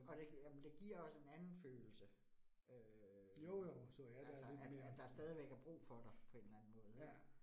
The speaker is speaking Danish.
Og det, jamen det giver også en anden følelse øh, altså, at at der stadigvæk er brug for dig på en eller anden måde ik